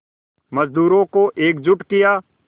मज़दूरों को एकजुट किया